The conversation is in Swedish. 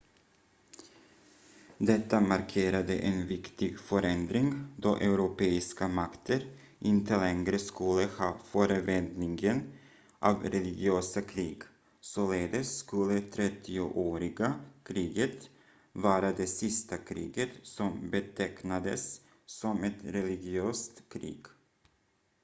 detta markerade en viktig förändring då europeiska makter inte längre skulle ha förevändningen av religiösa krig således skulle trettioåriga kriget vara det sista kriget som betecknades som ett religiöst krig